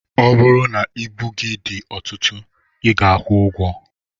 Ọ bụrụ na ibu gị dị ọtụtụ I ga-akwụ ụgwọ.